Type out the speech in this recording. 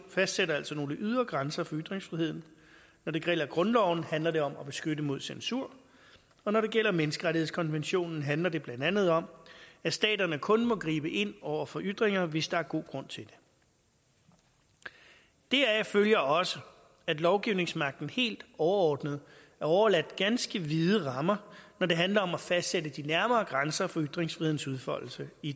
fastsætter altså nogle ydre grænser for ytringsfriheden når det gælder grundloven handler det om at beskytte mod censur og når det gælder menneskerettighedskonventionen handler det blandt andet om at staterne kun må gribe ind over for ytringer hvis der er god grund til det deraf følger også at lovgivningsmagten helt overordnet er overladt ganske vide rammer når det handler om at fastsætte de nærmere grænser for ytringsfrihedens udfoldelse i